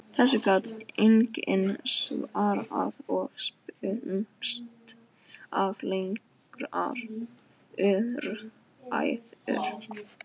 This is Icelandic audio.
Þessu gat enginn svarað og spunnust af langar umræður.